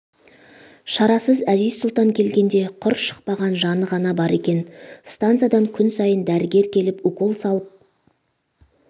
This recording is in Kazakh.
шарасыз әзиз-сұлтан келгенде құр шықпаған жаны ғана бар екен станциядан күн сайын дәрігер келіп укол салып